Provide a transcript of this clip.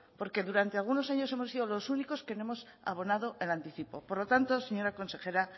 porque durante algunos años hemos sido los únicos que no hemos abonado el anticipo por lo tanto señora consejera